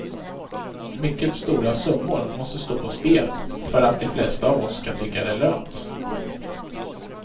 Mycket stora summor måste stå på spel för att de flesta av oss ska tycka det är lönt.